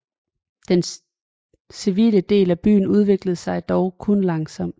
Den civile dele af byen udviklede sig dog kun langsomt